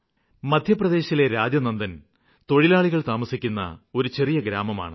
ഛത്തീസ്ഗഡിലെ രാജ്നന്ദ്ഗാവ് തൊഴിലാളികള് താമസിക്കുന്ന ഒരു ചെറിയ ഗ്രാമമാണ്